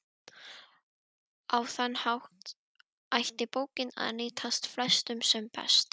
Á þann hátt ætti bókin að nýtast flestum sem best.